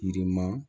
Yirima